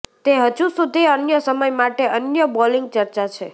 તે હજુ સુધી અન્ય સમય માટે અન્ય બોલિંગ ચર્ચા છે